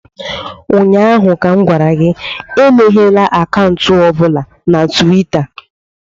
Ụnyaahụ m gwara gị, emeghela akaụntụ ọ bụla na Tuweeta!